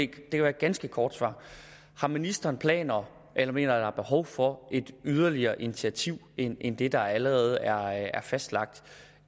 kan være ganske kort om ministeren har planer om eller mener der er behov for et yderligere initiativ end end det der allerede er fastlagt